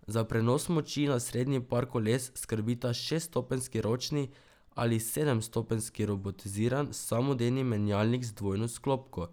Za prenos moči na sprednji par koles skrbita šeststopenjski ročni ali sedemstopenjski robotiziran samodejni menjalnik z dvojno sklopko.